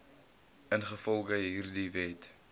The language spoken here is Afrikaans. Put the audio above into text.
ingevolge hierdie wet